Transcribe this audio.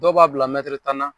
Dɔw b'a bila tan na.